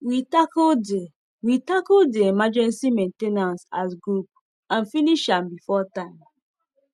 we tackle the we tackle the emergency maintainace as group and finish am before time